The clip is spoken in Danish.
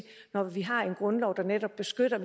når vi har en grundlov der netop beskytter